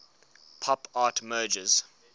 pop art merges